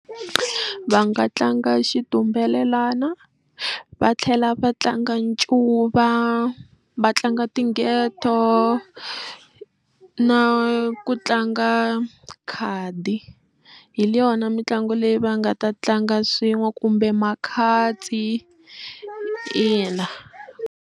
Va nga tlanga xitumbelelana va tlhela va tlanga ncuva va tlanga tingheto na ku tlanga khadi hi yona mitlangu leyi va nga ta tlanga swin'we kumbe makhadzi ina.